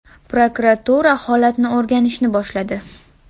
Prokuratura holatni o‘rganishni boshladi.